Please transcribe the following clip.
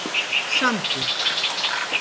Sandur